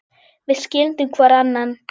Við skildum hvor annan.